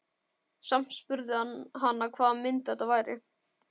Samt spurði hann hana hvaða mynd þetta væri.